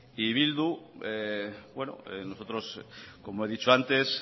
y bildu nosotros como he dicho antes